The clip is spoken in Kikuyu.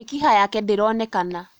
Mĩkiha yake ndĩronekana